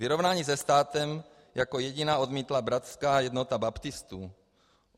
Vyrovnání se státem jako jediná odmítla Bratrská jednota baptistů.